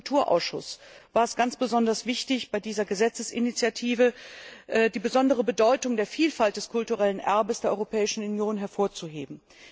Für uns im Kulturausschuss war es ganz besonders wichtig, bei dieser Gesetzesinitiative die besondere Bedeutung der Vielfalt des kulturellen Erbes der Europäischen Union hervorzuheben.